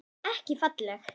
Ekki falleg.